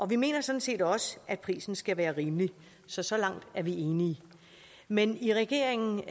vi mener sådan set også at prisen skal være rimelig så så langt er vi enige men i regeringen